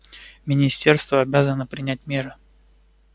министерство обязано принять меры